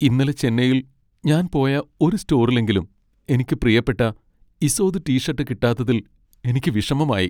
ഇന്നലെ ചെന്നൈയിൽ ഞാൻ പോയ ഒരു സ്റ്റോറിലെങ്കിലും എനിക്ക് പ്രിയപ്പെട്ട ഇസോദ് ടി ഷട്ട് കിട്ടാഞ്ഞതിൽ എനിക്ക് വിഷമമായി.